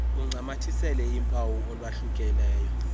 uncamathisele uphawu olwahlukileyo